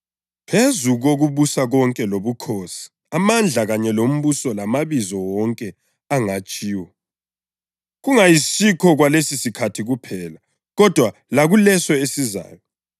awasebenzisa evusa uKhristu kwabafileyo, emhlalisa esandleni sakhe sokunene ebukhosini basezulwini